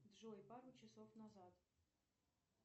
джой пару часов назад